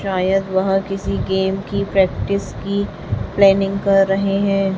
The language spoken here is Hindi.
शायद वह किसी गेम की प्रैक्टिस की प्लानिंग कर रहे है।